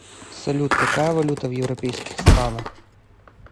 салют какая валюта в европейских странах